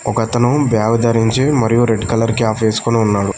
ఒకతను బ్యాగ్ ధరించి మరియు రెడ్ కలర్ క్యాప్ వేసుకుని ఉన్నాడు.